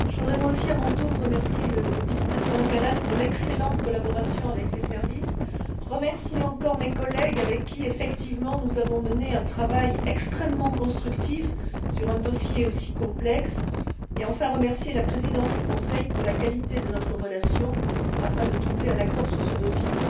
Monsieur le Président, je voudrais moi aussi, à mon tour, remercier le vice président Kallas pour l'excellente collaboration avec ses services, remercier encore mes collègues avec qui, effectivement, nous avons mené un travail extrêmement constructif sur un dossier aussi complexe, et, enfin, remercier la présidence du Conseil pour la qualité de notre relation afin de trouver un accord sur ce dossier.